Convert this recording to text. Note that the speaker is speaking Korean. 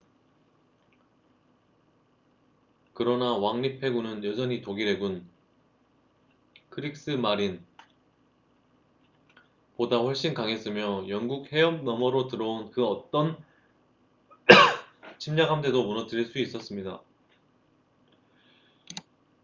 그러나 왕립 해군은 여전히 ​​독일 해군 크릭스 마린”보다 훨씬 강했으며 영국 해협 너머로 들어온 그 어떤 침략 함대도 무너뜨릴 수 있었습니다